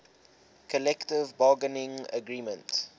collective bargaining agreement